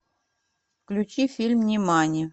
включи фильм нимани